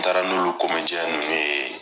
N taara n'olu nunnu ye